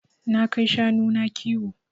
Na kai shanu na kiwo.